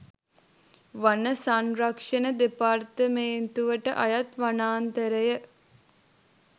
වන සංරක්‍ෂණ දෙපාර්තමේන්තුවට අයත් වනාන්තරය